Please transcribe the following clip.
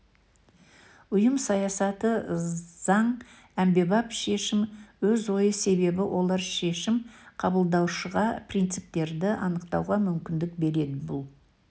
ұйым саясаты заң әмбебап шешім өз ойы себебі олар шешім қабылдаушыға принциптерді анықтауға мүмкіндік береді бұл